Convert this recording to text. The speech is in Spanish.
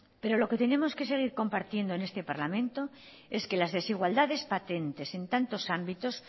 pero lo que tenemos que seguir compartiendo en este parlamento es que las desigualdades patentes en tantos ámbitos